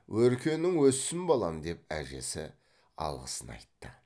өркенің өссін балам деп әжесі алғысын айтты